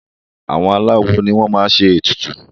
àwọn aláwo ni wọ́n máa n ṣe ètùtù